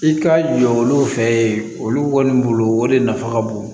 I ka jɔ olu fɛ yen olu kɔni bolo o de nafa ka bon